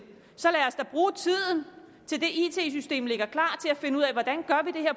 så lad os da bruge tiden indtil det it system ligger klart til at finde ud af